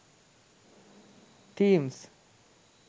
themes